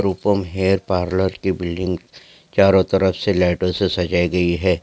Rupam hair parlour की building चारो तरफ से लाइटों से सजाई गयी है।